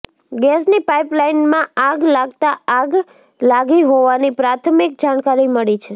ગેસની પાઈપલાઈનમાં આગ લાગતા આગ લાગી હોવાની પ્રાથમિક જાણકારી મળી છે